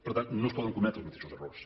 per tant no es poden cometre els mateixos errors